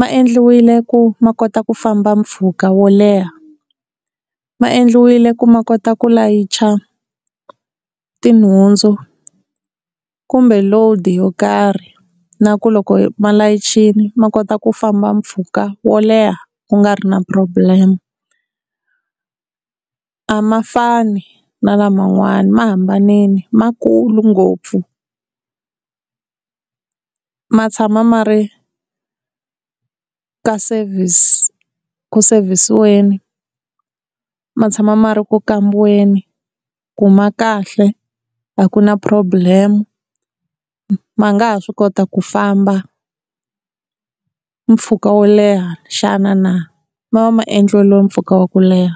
ma endliwile ku ma kota ku famba mpfhuka wo leha, ma endliwile ku ma kota ku layicha tinhundzu kumbe load yo karhi na ku loko va layichini ma kota ku famba mpfhuka wo leha ku nga ri na problem, a ma fani na lama n'wana ma hambanile ma kulu ngopfu. Ma tshama ma ri ka service ku sevisiweni, ma tshama ma ri ku kambiweni ku ma kahle a ku na problem ma nga ha swi kota ku famba mpfhuka wo leha xana na, ma va ma endleriwe mpfhuka wa ku leha.